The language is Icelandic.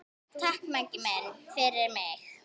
Takk, Maggi minn, fyrir mig.